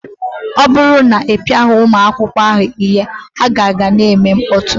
Ọ bụrụ na ị pịaghị ụmụ akwụkwọ ahụ ihe, ha ka ga na-eme mkpọtụ